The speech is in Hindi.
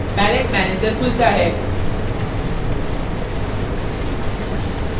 palatte managerखुलता है